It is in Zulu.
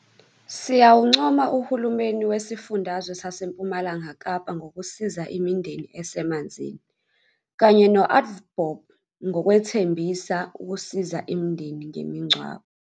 Siyawuncoma uhulumeni wesifundazwe saseMpumalanga Kapa ngokusiza imindeni esemanzini, kanye no-AVBOB ngokwethembisa ukusiza imindeni ngemingcwabo.